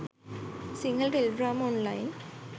sinhala teledrama online